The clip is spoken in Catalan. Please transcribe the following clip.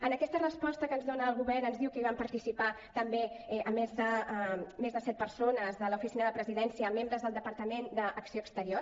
en aquesta resposta que ens dona el govern ens diu que hi van participar també a més de set persones de l’oficina de presidència membres del departament d’acció exterior